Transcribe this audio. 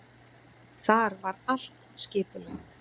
Þar var allt skipulagt.